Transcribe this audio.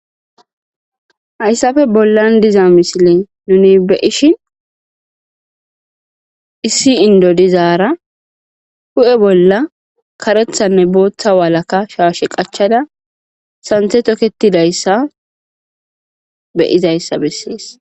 Hayissappe bollanni diza missilenni nuni be'ishshinn issi Indo dizara huphphe bolla kareththa nne boththa walaka shashshe qachchada saniththe toketidayissa be'izayissa besses.